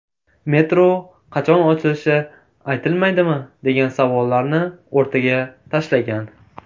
Metro qachon ochilishi aytilmaydimi?”, degan savollarni o‘rtaga tashlagan .